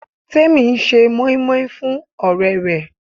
Temi ń ṣe moin-moin fún ọ̀rẹ́ rẹ̀.